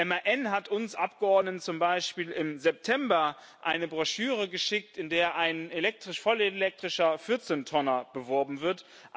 MAN hat uns Abgeordneten zum Beispiel im September eine Broschüre geschickt, in der ein vollelektrischer Vierzehntonner beworben wird.